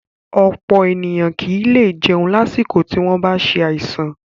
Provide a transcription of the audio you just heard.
Ọ̀pọ̀ ènìyàn kì í lè jẹun lásìkò tí wọ́n bá ṣe àìsàn